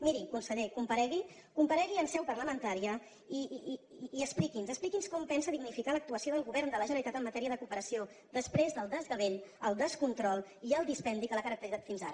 miri conseller comparegui comparegui en seu parlamentària i expliqui’ns expliqui’ns com pensa dignificar l’actuació del govern de la generalitat en matèria de cooperació després del desgavell el descontrol i el dispendi que l’ha caracteritzat fins ara